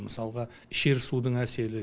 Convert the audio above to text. мысалға ішер судың әсері